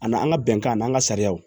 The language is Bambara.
A n'an ka bɛnkan n'an ka sariyaw